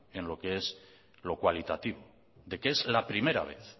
en lo que es lo cualitativo de que es la primera vez